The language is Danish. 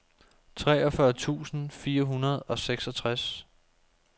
treogfyrre tusind fire hundrede og seksogtres